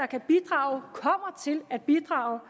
kan bidrage kommer til at bidrage og